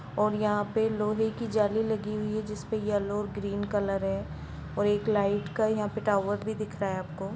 और यहां पे लोहे की जाली लगी हुई है जिसपे येलो और ग्रीन कॉलर है और एक लाईट का यहां टावर भी दिख रहा आपको --